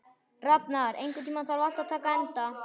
Rafnar, einhvern tímann þarf allt að taka enda.